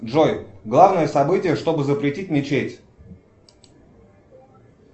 джой главное событие чтобы запретить мечеть